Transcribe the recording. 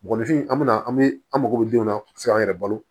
Mɔgɔninfin an bɛna an bɛ an mago bɛ denw na se k'an yɛrɛ balo